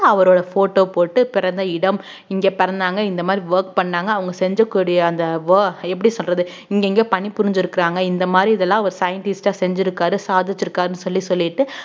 அவரோட photo போட்டு பிறந்த இடம் இங்க பிறந்தாங்க இந்த மாதிரி work பண்ணாங்க அவங்க செஞ்சக்கூடிய அந்த wo~ எப்படி சொல்றது இங்க இங்க பணிபுரிஞ்சுருக்கிறாங்க இந்த மாதிரி இதெல்லாம் அவர் scientist ஆ செஞ்சிருக்காரு சாதிச்சிருக்காருன்னு சொல்லி சொல்லிட்டு